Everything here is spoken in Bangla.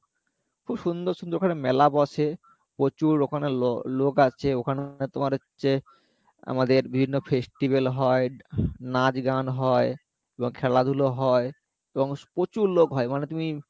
খুব সুন্দর সুন্দর ওখানে মেলা বসে প্রচুর ওখানে লো~লোক আসে ওখানে তোমার হচ্ছে আমাদের বিভিন্ন festival হয় নাচ গান হয় এবং খেলাধুলা হয় এবং প্রচুর লোক হয় মানে তুমি